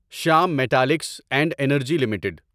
Shyam Metalics and Energy limited